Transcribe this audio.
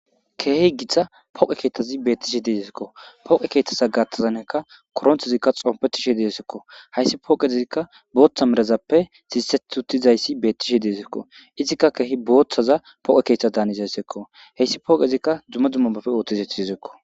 Keehi gitta pooqe keeththazi beettishe deezesekko pooqe keeththasa gatazaneka korontezikka xompetishe deesekko hayssi pooqezikka booththa merazappe sisseti utizayssi beettishe deesekko izikka keehi booththaza poqe keeththa daanizaysekko heyssi pooqezikka dumma dummabappe ooththizeti sizekko